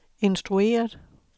instrueret